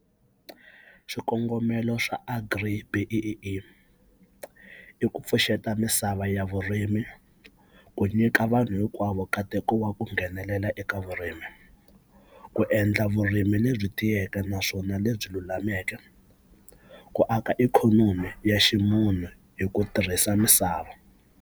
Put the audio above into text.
Swikongomelo swa agri-B_E_E i ku pfuxeta misava ya vurimi ku nyika vanhu hinkwavo katiko wa ku nghenelela eka vurimi ku endla vurimi lebyi tiyeke naswona lebyi lulameke ku aka ikhonomi ya ximunhu hi ku tirhisa misava.